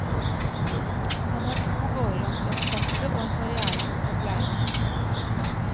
Han har to gårder han skal forpakte og en karrière som skal pleies.